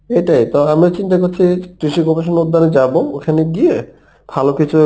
এটাই তা আমি চিন্তা করছি কৃষি গবেষণা উদ্যানে যাবো ওখানে গিয়ে ভালো কিছু